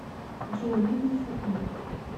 джой ну ты и шутник